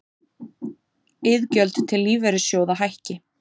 Iðgjöld til lífeyrissjóða hækki